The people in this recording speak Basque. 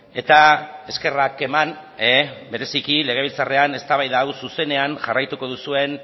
eta eskerrak eman bereziki legebiltzarrean eztabaida hau zuzenean jarraituko duzuen